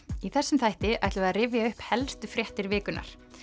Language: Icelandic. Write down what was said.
í þessum þætti ætlum við að rifja upp helstu fréttir vikunnar